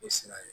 O sira ye